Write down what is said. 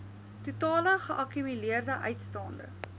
totale geakkumuleerde uitstaande